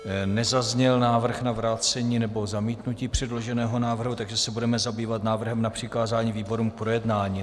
Nezazněl návrh na vrácení nebo zamítnutí předloženého návrhu, takže se budeme zabývat návrhem na přikázání výborům k projednání.